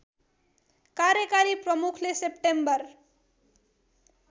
कार्यकारी प्रमुखले सेप्टेम्बर